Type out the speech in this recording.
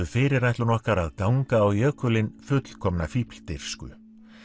fyrirætlun okkar að ganga á jökulinn fullkomna fífldirfsku